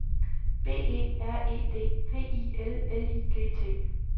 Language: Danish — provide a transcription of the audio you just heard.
B E R E D V I L L I G T